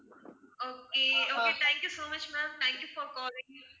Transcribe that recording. okay okay thank you so much ma'am thank you for calling